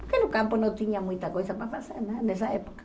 Porque no campo não tinha muita coisa para fazer né nessa época.